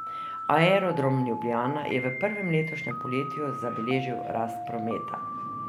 Aerodrom Ljubljana je v prvem letošnjem polletju zabeležil rast prometa.